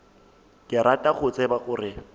ke rata go tseba gore